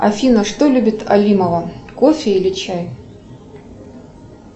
афина что любит алимова кофе или чай